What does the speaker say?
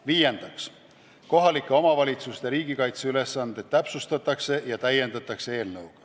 Viiendaks, kohalike omavalitsuste riigikaitseülesandeid täpsustatakse ja täiendatakse.